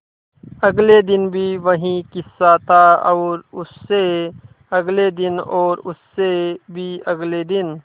अगले दिन भी वही किस्सा था और उससे अगले दिन और उससे भी अगले दिन